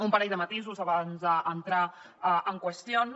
un parell de matisos abans d’entrar en qüestions